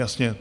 Jasně.